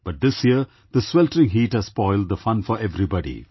But this year the sweltering heat has spoilt the fun for everybody